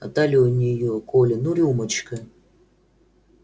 а талия у неё коля ну рюмочка